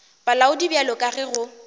bolaodi bjalo ka ge go